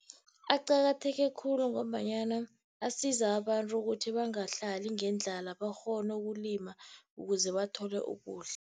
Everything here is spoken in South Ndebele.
Aqakatheke khulu ngombanyana asiza abantu ukuthi bangahlali ngendlala, bakghone ukulima ukuze bathole ukudla.